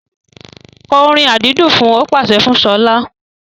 Kọ orin àdídùn fun! Ó pàṣẹ fún Ṣọlá.